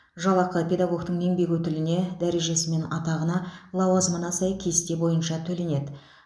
жалақы педагогтің еңбек өтіліне дәрежесі мен атағына лауазымына сай кесте бойынша төленеді